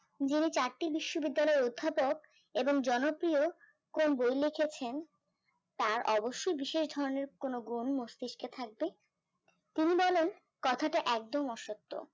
যিনি চারটি বিশ্ববিদ্যালয়ের অধ্যাপক এবং জনপ্রিয় কোন বই লিখেছেন তার অবশ্যই বিশেষ ধরনের কোন গুণ মস্তিষ্ক থাকবে তিনি বলেন কথাটা একদম অসত্য